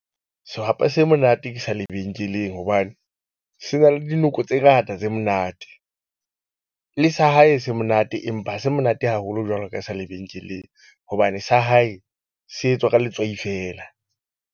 Sehwapa se monate ke sa lebenkeleng hobane, se na le dinoko tse ngata tse monate le sa hae se monate. Empa ha se monate haholo jwalo ka e sa lebenkeleng hobane sa hae se etswa ka letswai feela.